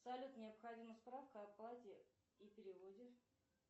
салют необходима справка об оплате и переводе